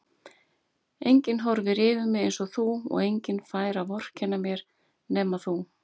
Enginn horfir yfir mig einsog þú og enginn fær að vorkenna mér nema þú.